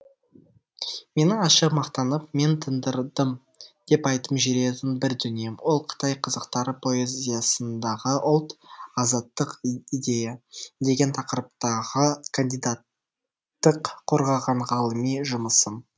менің ашық мақтанып мен тындырдым деп айтып жүретін бір дүнием ол қытай қазақтары поэзиясындағы ұлт азаттық идея деген тақырыптағы кандидаттық қорғаған ғылыми жұмысым